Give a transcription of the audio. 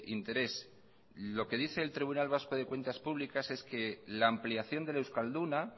interés lo que dice el tribunal vasco de cuentas públicas es que la ampliación del euskalduna